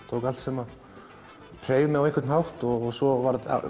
tók allt sem hreif mig á einhvern hátt svo var